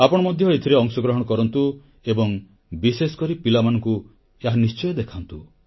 ଆପଣ ମଧ୍ୟ ଏଥିରେ ଅଂଶଗ୍ରହଣ କରନ୍ତୁ ଏବଂ ବିଶେଷକରି ପିଲାମାନଙ୍କୁ ଏହା ନିଶ୍ଚୟ ଦେଖାନ୍ତୁ